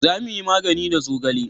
za mu yi magani da zogale